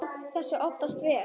Fólkið tók þessu oftast vel.